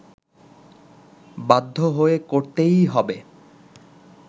বাধ্য হয়ে করতেই হবে